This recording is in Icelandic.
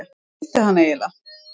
Hvað vildi hann eiginlega?